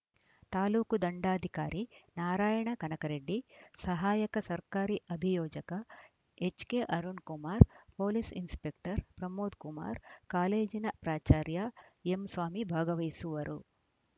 ತಾಲೂಕು ದಂಡಾಧಿಕಾರಿ ನಾರಾಯಣ ಕನಕ ರೆಡ್ಡಿ ಸಹಾಯಕ ಸರ್ಕಾರಿ ಅಭಿಯೋಜಕ ಎಚ್‌ಕೆಅರುಣ್‌ Kumar police inspector Pramod Kumar ಕಾಲೇಜಿನ ಪ್ರಾಚಾರ್ಯ ಎಂಸ್ವಾಮಿ ಭಾಗವಹಿಸುವರು